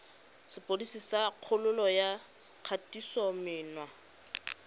sepodisi sa kgololo ya kgatisomenwa